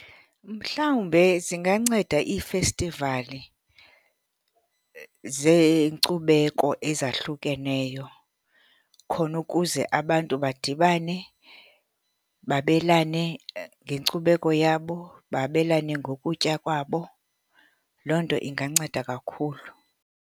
Mhlawumbe zinganceda ii-festival zeenkcubeko ezahlukeneyo khona ukuze abantu badibane, babelane ngenkcubeko yabo, babelane ngokutya kwabo. Loo nto inganceda kakhulu.